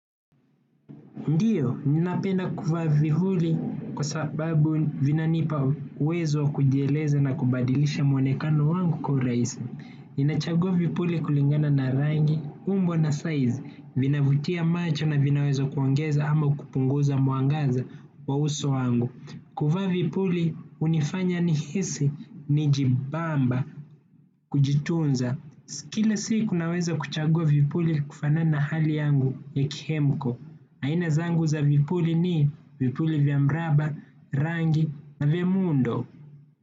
Ndiyo, ninapenda kuvaa vipuli kwa sababu vinanipa uwezo kujieleze na kubadilisha mwonekano wangu kwa urahisi. Ninachagua vipuli kulingana na rangi, umbo na size, vinavutia macho na vinaweza kuongeza ama kupunguza mwangaza wa uso wangu. Kuvaa vipuli, hunifanya nihisi, ni jibamba, kujitunza. Kila siku naweza kuchagua vipuli kufanana na hali yangu ya kihemko. Aina zangu za vipuli ni vipuli vya mraba rangi na vya muundo.